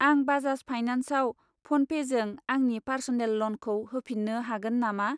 आं बाजाज फाइनान्सआव फ'नपेजों आंनि पार्स'नेल ल'नखौ होफिन्नो हागोन नामा?